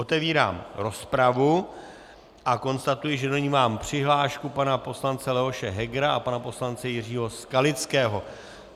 Otevírám rozpravu a konstatuji, že do ní mám přihlášku pana poslance Leoše Hegera a pana poslance Jiřího Skalického.